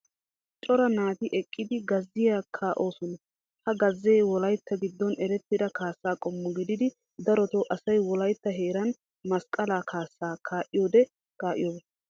cora naati eqqidi gazziya kaa"oosona. ha gazzee wolaytta giddon erettida kaassa qommo gididdi darotoo asay wolaytta heeran masqalaa kaasaa kaa'iyode kaa'iyooba.